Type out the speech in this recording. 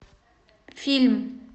фильм